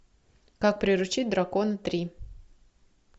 как приручить дракона три